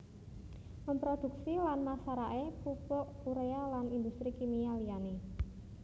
Memproduksi lan masarake pupuk urea lan industri kimia liyane